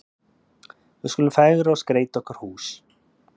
Við skulum fegra og skreyta okkar hús.